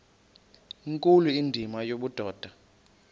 nkulu indima yobudoda